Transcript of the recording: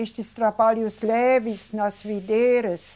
Estes trabalhos leves nas videiras.